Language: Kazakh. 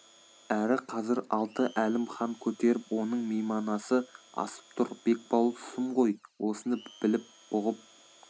әрі қазір алты әлім хан көтеріп оның мейманасы асып тұр бекбауыл сұм ғой осыны біліп бұғып